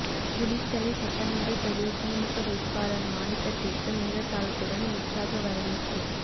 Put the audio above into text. குளித்தலை சட்டமன்ற தொகுதி திமுக வேட்பாளர் மாணிக்கத்திற்கு மேளதாளத்துடன் உற்சாக வரவேற்பு